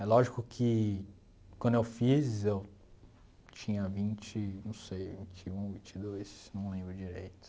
É lógico que quando eu fiz eu tinha vinte... não sei, vinte e um, vinte e dois, não lembro direito.